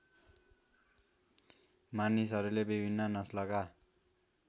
मानिसहरूले विभिन्न नस्लका